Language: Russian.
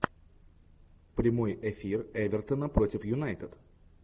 прямой эфир эвертона против юнайтед